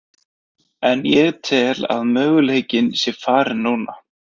En ég tel að möguleikinn sé farinn núna.